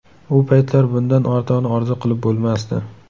U paytlar bundan ortig‘ini orzu qilib bo‘lmasdi.